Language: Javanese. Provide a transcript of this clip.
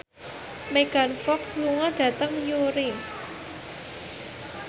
Megan Fox lunga dhateng Newry